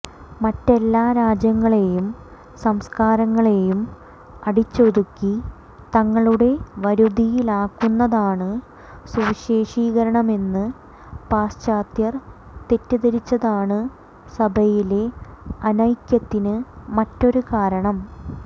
മറ്റെല്ലാ രാജ്യങ്ങളെയും സംസ്കാരങ്ങളെയും അടിച്ചൊതുക്കി തങ്ങളുടെ വരുതിയിലാക്കുന്നതാണ് സുവിശേഷീകരണമെന്ന് പാശ്ചാത്യർ തെറ്റിദ്ധരിച്ചതാണ് സഭയിലെ അനൈക്യത്തിന് മറ്റൊരു കാരണം